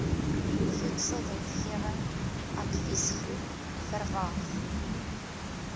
voedselwetgewing adviesgroep vwag